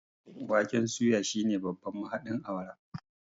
waken suya shine babban mahaɗin awara